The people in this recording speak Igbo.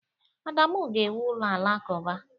Adamu ga-ewu ụlọ alakụba.